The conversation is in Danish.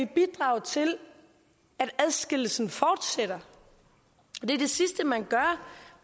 bidrage til at adskillelsen fortsætter det